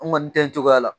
An kɔni tɛ cogoya la